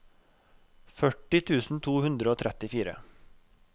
førti tusen to hundre og trettifire